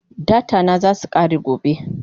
Data na zasu kare gobe